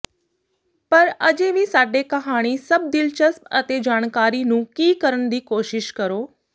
ਪਰ ਅਜੇ ਵੀ ਸਾਡੇ ਕਹਾਣੀ ਸਭ ਦਿਲਚਸਪ ਅਤੇ ਜਾਣਕਾਰੀ ਨੂੰ ਕੀ ਕਰਨ ਦੀ ਕੋਸ਼ਿਸ਼ ਕਰੋ